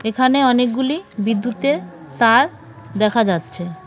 এখানে অনেকগুলি বিদ্যুতের তার দেখা যাচ্ছে .